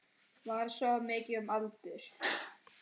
Var svo um aldir.